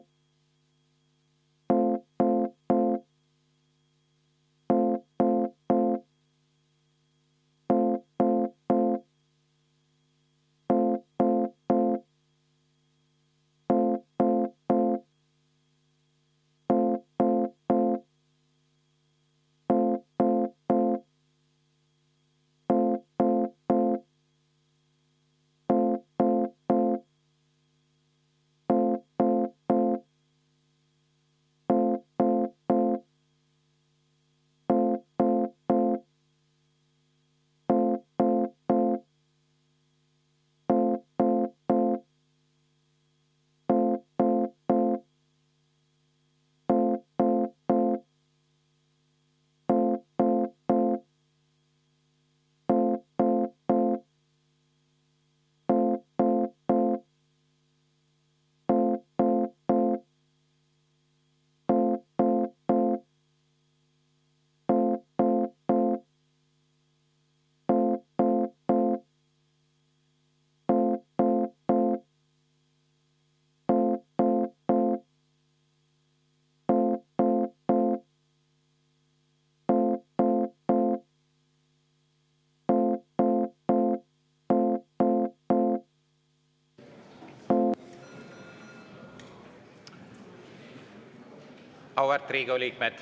Auväärt Riigikogu liikmed!